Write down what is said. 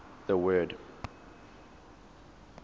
the word